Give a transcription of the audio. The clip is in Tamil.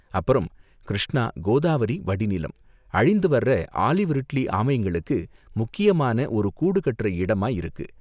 அப்பறம், கிருஷ்ணா கோதாவரி வடிநிலம், அழிந்துவர்ற ஆலிவ் ரிட்லி ஆமைங்களுக்கு முக்கியமான ஒரு கூடு கட்டுற இடமா இருக்கு.